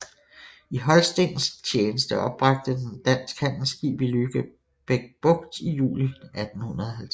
I holstensk tjeneste opbragte den et dansk handelsskib i Lübeck Bugt i juli 1850